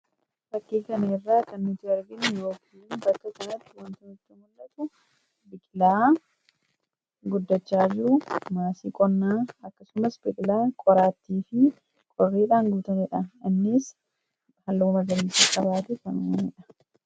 fakkii kaneerraa kan nuti arginniwookilin bakka tanatti wantanutti mul'atu bikilaa guddachaa jiru maasii qonnaa akkasumas biqilaa qoraattii fi qorriidhaan guutaniidha innis hallamagaliica qabaate fanumaniidha